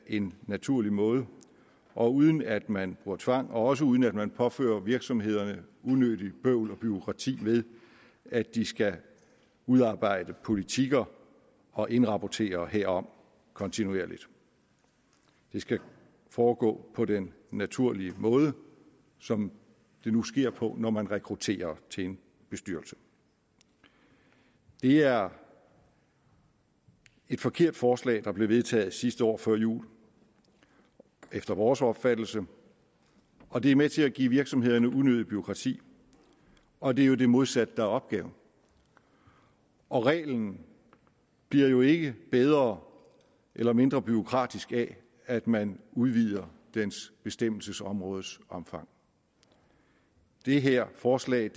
en naturlig måde og uden at man bruger tvang og også uden at man påfører virksomhederne unødigt bøvl og bureaukrati ved at de skal udarbejde politikker og indrapportere herom kontinuerligt det skal foregå på den naturlige måde som det nu sker på når man rekrutterer til en bestyrelse det er et forkert forslag der blev vedtaget sidste år før jul efter vores opfattelse og det er med til at give virksomhederne unødigt bureaukrati og det er jo det modsatte der er opgaven og reglen bliver jo ikke bedre eller mindre bureaukratisk af at man udvider dens bestemmelsesområdes omfang det her forslag